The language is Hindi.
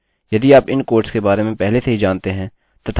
मुझे पहले की तरह मेरे get के साथ मेरा पेज मिल गया है